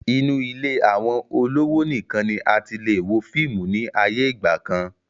Inu ilé àwọn olówò nìkan ni a tilè wo fíìmù ni ayé ìgbàkan